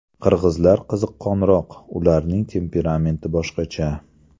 Qirg‘izlar qiziqqonroq, ularning temperamenti boshqacha.